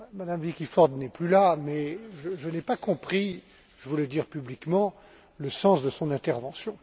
Mme Vicky Ford n'est plus là, mais je n'ai pas compris je voulais le dire publiquement le sens de son intervention.